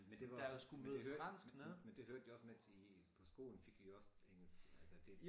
Men var også men det hørte men det hørte jo også med til i på skolen fik vi jo også engelsk altså det